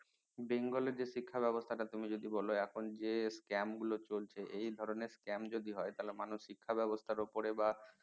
bengal এর যে শিক্ষা ব্যাবস্থা টা তুমি যদি বলো এখন যে scam গুলো চলছে এই ধরনের scam গুলো যদি হয় তাহলে মানুষ শিক্ষা ব্যাবস্থার উপরে বা